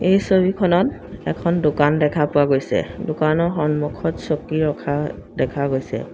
এই ছবিখনত এখন দোকান দেখা পোৱা গৈছে দোকানৰ সন্মুখত এখন চকী ৰখা দেখা গৈছে।